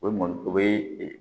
O mɔn o bɛ ee